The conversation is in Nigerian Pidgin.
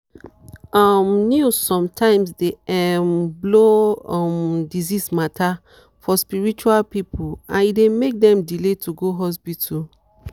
um news sometimes dey um blow um disease matter for spiritual people and e dey make dem delay to go hospital.